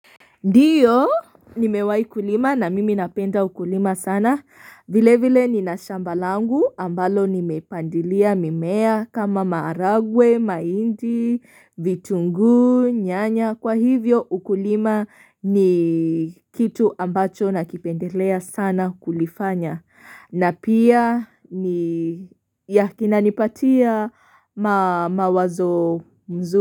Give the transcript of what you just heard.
Ndiyo nimewahi kulima na mimi napenda ukulima sana vile vile nina shamba langu ambalo nimepandilia mimea kama maharagwe, mahindi, vitunguu, nyanya kwa hivyo ukulima ni kitu ambacho nakipendelea sana kulifanya na pia ni ya kinanipatia mawazo mzuri.